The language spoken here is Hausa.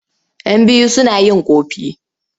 Yan biyu suna yin ƙofi.